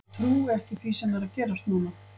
Ég trúi ekki því sem er að gerast núna.